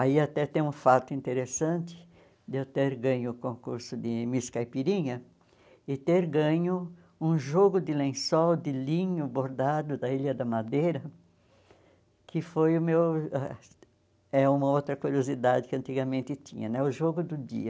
Aí até tem um fato interessante de eu ter ganho o concurso de Miss Caipirinha e ter ganho um jogo de lençol de linho bordado da Ilha da Madeira, que foi o meu ah é uma outra curiosidade que antigamente tinha né, o jogo do dia.